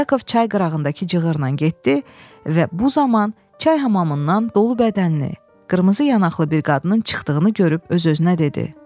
Yakov çay qırağındakı cığırla getdi və bu zaman çay hamamından dolu bədənli, qırmızı yanaqlı bir qadının çıxdığını görüb öz-özünə dedi: